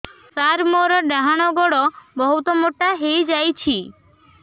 ସାର ମୋର ଡାହାଣ ଗୋଡୋ ବହୁତ ମୋଟା ହେଇଯାଇଛି